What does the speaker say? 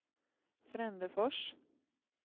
Frändefors